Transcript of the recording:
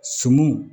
Suman